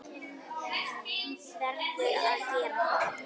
Verður að gera það.